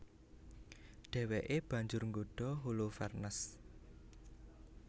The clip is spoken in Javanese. Dhèwèké banjur nggodha Holofernes